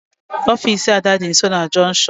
Ofisi Ada dị nsọ na junktion